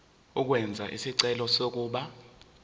ukwenza isicelo sokuba